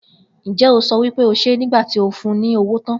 Njẹ o so wipe o ṣe nigbati o fun ni owo tan?